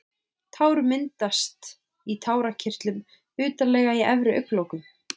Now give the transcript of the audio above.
Tár myndast í tárakirtlum utarlega í efri augnlokunum.